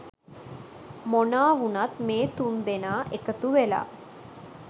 මොනා වුනත් මේ තුන් දෙනා එකතු වෙලා